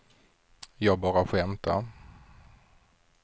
jag bara skämtade